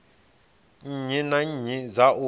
nnyi na nnyi dza u